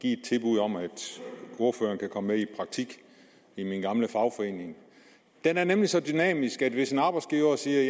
give et tilbud om at ordføreren kan komme med i praktik i min gamle fagforening den er nemlig så dynamisk at hvis en arbejdsgiver siger at